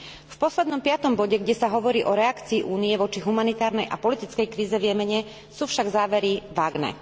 V poslednom, piatom bode, kde sa hovorí o reakcii Únie voči humanitárnej a politickej kríze v Jemene, sú však závery vágne.